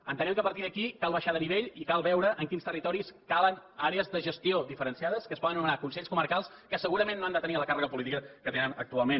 entenem que a partir d’aquí cal baixar de nivell i cal veure en quins territoris calen àrees de gestió diferenciades que es poden anomenar consells comarcals que segurament no han de tenir la càrrega política que tenen actualment